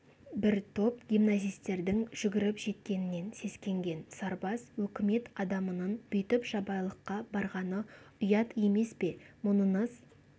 бір топ гимназистердің жүгіріп жеткенінен сескенген сарбаз өкімет адамының бүйтіп жабайылыққа барғаны ұят емес пе мұныңыз